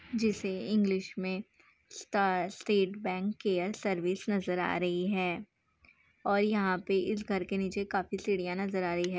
जिसे इंग्लिश में state bank के केयर सर्विस नज़र आ रही है और यहा पे इस घर के नीचे काफी सीढ़ियां नजर आ रही है।